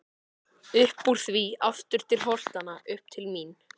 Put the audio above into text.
Uppúr því aftur til holtanna, upp til mín.